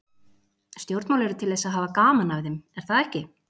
Stjórnmál eru til þess að hafa gaman af þeim, er það ekki?